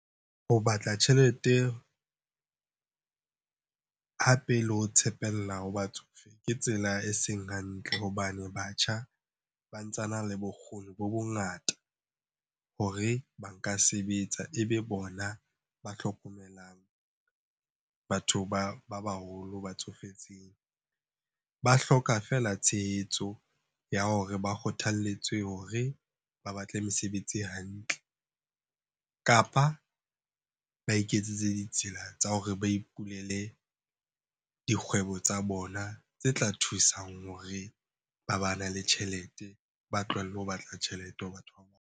Ho batla tjhelete, hape le ho tshepella ho batsofe ke tsela e seng hantle hobane batjha ba ntsa na le bokgoni bo bongata hore ba nka sebetsa. E be bona ba hlokomelang batho ba baholo ba tsofetseng. Ba hloka feela tshehetso ya hore ba kgothapletswe hore ba batle mesebetsi e hantle, kapa ba iketsetse ditsela tsa hore ba ipulele dikgwebo tsa bona tse tla thusang hore ba bane le tjhelete. Ba tlohelle ho batla tjhelete ho batho .